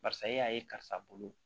Barisa e y'a ye karisa bolo